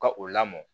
Ka o lamɔ